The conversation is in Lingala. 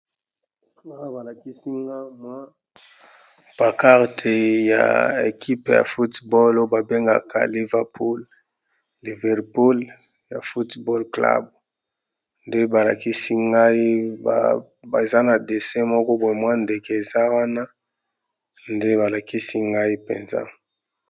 Awa namoni balakisi biso mwa paquarte ya bato oyo babeta ndembo ya maboko eza equipe yapoto babengaka yango Liverpool